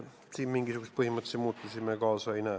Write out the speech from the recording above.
Siin mingisuguseid põhimõttelisi muutusi me ette ei näe.